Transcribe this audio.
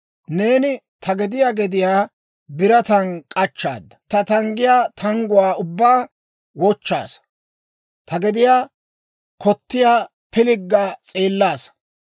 Neeni ta gediyaa gediyaa birataan k'achchaadda; ta tanggiyaa tangguwaa ubbaa wochchaasa; ta gediyaa kottiyaa pilgga s'eellaasa.